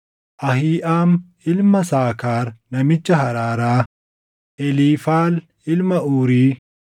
Ahiiʼaam ilma Saakaar namicha Haraaraa, Eliifaal ilma Uuri,